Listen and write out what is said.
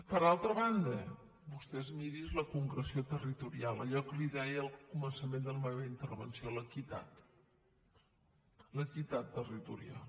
per altra banda vostè miri’s la concreció territorial allò que li deia al començament de la meva intervenció l’equitat l’equitat territorial